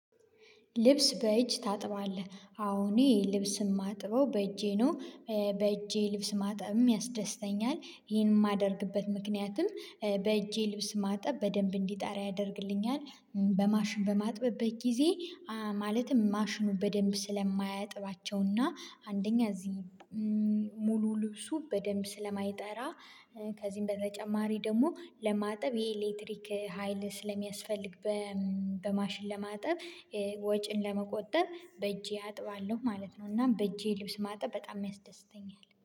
ልብስ በእጅ ታጥባለህ? አዎ እኔ ልብስ የማጥበው በእጄ ነው። በእጄ ልብስ ማጥበውም ያስደስተኛል። ይሄን የማደርግበት ምክንያትም በእጄ ልብስ ማጠብ በደንብ እንዲጣራ ያደርግልኛል። በማሽን በማጥበበት ጊዜ ማለትም ማሽኑ በደንብ ስለማያጥባቸውና አንደኛ እዚህ ሙሉ ልብሱ በደንብ ስለማይጠራ ከዚህም በተጨማሪ ደግሞ ለማጠብ የኤሌክትሪክ ሀይል ስለሚያስፈልግ በማሽን ለማጠብ ወጪን ለመቆጠብ በእጄ አጥባለሁ ማለት ነው። እና በእጄ ልብስ ማጠብ በጣም ያስደስተኛል።